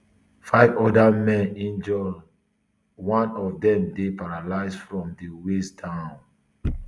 five oda men dey injured um one of dem dey paralysed from di waist down um